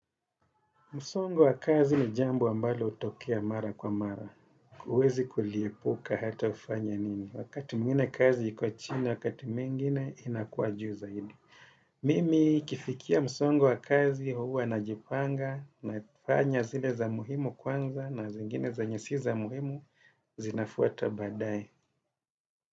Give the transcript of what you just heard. Msongo wa kazi ni jambo ambalo hutokea mara kwa mara. Huwezi kuliepuka hata ufanye nini. Wakati mwingine kazi iko chini, wakati mwingine inakuwa juu zaidi. Mimi ikifikia msongo wa kazi huwa najipanga, nafanya zile za muhimu kwanza na zingine zenye si za muhimu zinafuata baadaye.